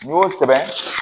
N'i y'o sɛbɛn